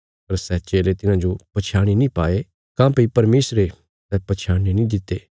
पर सै चेले तिन्हाजो पछयाणी नीं पाये काँह्भई परमेशरे सै पछयाणने नीं दित्ते